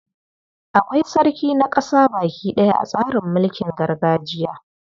Akwai sarki na ƙasa baki ɗaya a tsarin mulkin gargajiya.